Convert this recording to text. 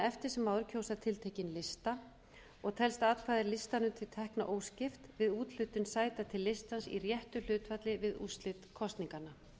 eftir sem áður kjósa tiltekinn lista og telst atkvæði listanum til tekna óskipt við úthlutun sæta til listans í réttu hlutfalli við úrslit kosninganna